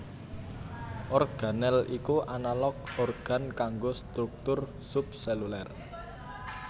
Organel iku analog organ kanggo struktur sub selular